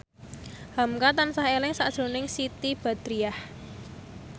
hamka tansah eling sakjroning Siti Badriah